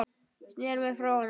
Sneri mér frá honum.